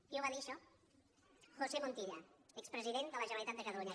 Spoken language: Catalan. qui ho va dir això josé montilla expresident de la generalitat de catalunya